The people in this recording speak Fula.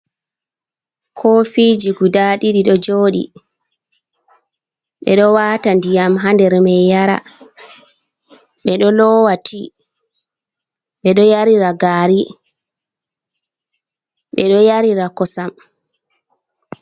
Ko fiji guda ɗiɗi ɗo joɗi, ɓeɗo wata ndiyam hander mai yara, ɓeɗo lowa ti, ɓeɗo yarira gari, ɓeɗo yarira kosam.